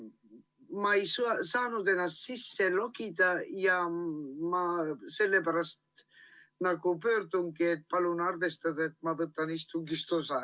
Ma lihtsalt millegipärast ei saanud ennast sisse logida ja sellepärast pöördungi, et palun arvestada, et ma võtan istungist osa.